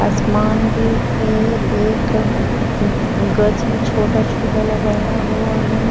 आसमान भी है एक गच भी छोटा छोटा लगाया हुआ है।